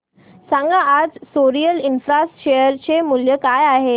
सांगा आज Soril infra share चे मूल्य काय आहे